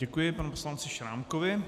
Děkuji panu poslanci Šrámkovi.